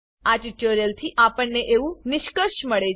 આ ટ્યુટોરીયલથી આપણેને એવું નિષ્કર્ષ મળે છે